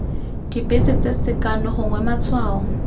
dibese tse sekano gongwe matshwao